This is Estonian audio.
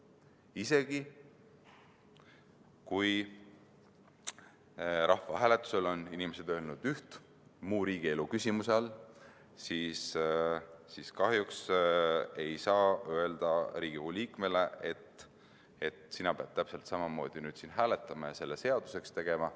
Isegi kui inimesed on rahvahääletusel öelnud muu riigielu küsimuse all üht, siis kahjuks ei saa Riigikogu liikmele öelda, et sina pead nüüd täpselt samamoodi hääletama ja seaduseks tegema.